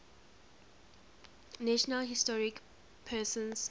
national historic persons